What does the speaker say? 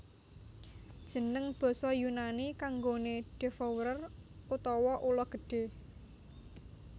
Jeneng basa Yunani kanggoné devourer utawa ula gedhé